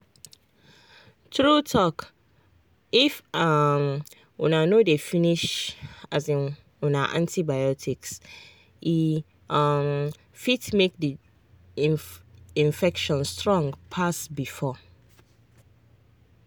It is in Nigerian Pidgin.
true talkif um una no dey finish um una antibiotics e um fit make the infection strong pass before.